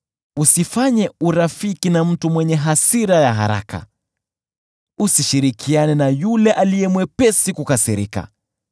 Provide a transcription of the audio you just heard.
Usifanye urafiki na mtu mwenye hasira ya haraka, usishirikiane na yule aliye mwepesi kukasirika,